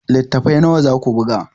Littattafai nawa za ku buga?